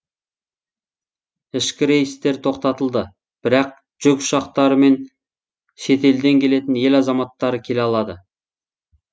ішкі рейстер тоқтатылды бірақ жүк ұшақтары мен шетелден келетін ел азаматтары келе алады